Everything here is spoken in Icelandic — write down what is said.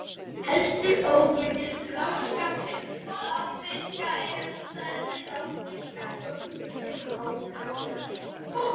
Helstu óvinir bláfiska eru stærri ránfiskar, svo sem hákarlar.